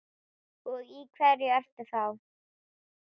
Og í hverju ertu þá?